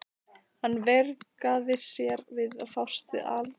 Hann veigraði sér við að fást við altarisbríkina.